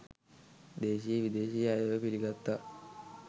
දේශීය විදේශීය අයව පිළිගත්තා.